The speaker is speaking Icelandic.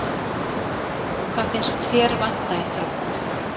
Hvað finnst ÞÉR vanta í Þrótt?